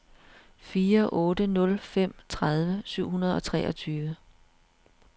fire otte nul fem tredive syv hundrede og treogtyve